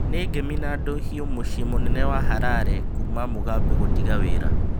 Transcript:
Nĩ ngemi na ndũhiũ mũcĩĩ mũnene wa Harare kũrũmĩrĩra Mũgabe gũtiga wĩra